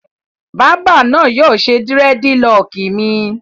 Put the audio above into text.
Bábà náà yóò ṣe dírẹ́dilọọkì mi.